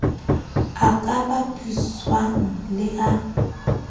a ka bapiswang le a